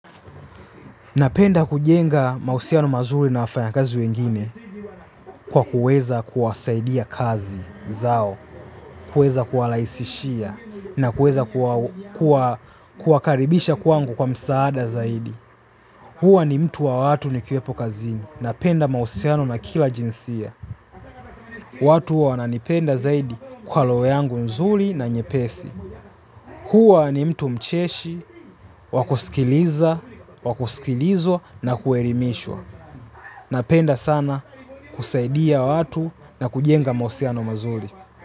Napenda kujenga mahusiano mazuri na wafanyakazi wengine kwa kuweza kuwasaidia kazi zao, kuweza kuwarahisishia na kuweza kuwakaribisha kwangu kwa msaada zaidi. Huwa ni mtu wa watu nikiwepo kazini. Napenda mahusiano na kila jinsia. Watu huwa wananipenda zaidi kwa roho yangu nzuri na nyepesi. Huwa ni mtu mcheshi, wakusikiliza, wakusikilizwa na kuelimishwa. Napenda sana kusaidia watu na kujenga mahusiano mazuri.